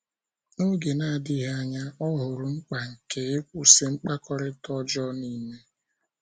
N’oge na - adịghị anya, ọ hụrụ mkpa nke ịkwụsị mkpakọrịta ọjọọ nile.